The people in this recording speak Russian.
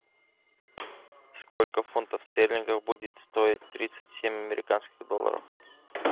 сколько фунтов стерлингов будет стоить тридцать семь американских долларов